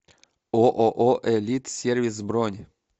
ооо элит сервис бронь